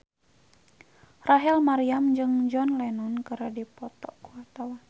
Rachel Maryam jeung John Lennon keur dipoto ku wartawan